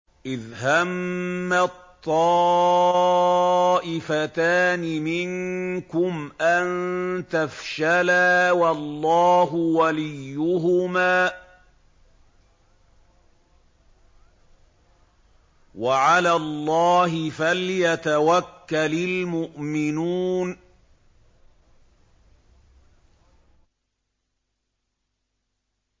إِذْ هَمَّت طَّائِفَتَانِ مِنكُمْ أَن تَفْشَلَا وَاللَّهُ وَلِيُّهُمَا ۗ وَعَلَى اللَّهِ فَلْيَتَوَكَّلِ الْمُؤْمِنُونَ